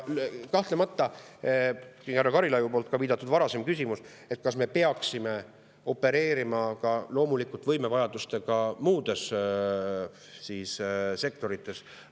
Kahtlemata, ka härra Karilaid oma varasemas küsimuses viitas, kas me peaksime opereerima võimevajadustega ka muudes sektorites.